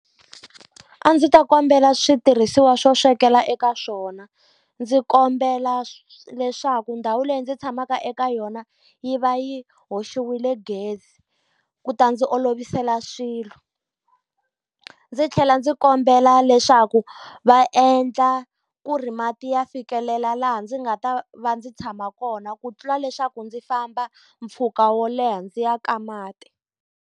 A ndzi ta kombela switirhisiwa swo swekela eka swona, ndzi kombela leswaku ndhawu leyi ndzi tshamaka eka yona yi va yi hoxiwile gezi ku ta ndzi olovisela swilo. Ndzi tlhela ndzi kombela leswaku va endla ku ri mati ya fikelela laha ndzi nga ta va ndzi tshama kona, ku tlula leswaku ndzi famba mpfhuka wo leha ndzi ya ka mati.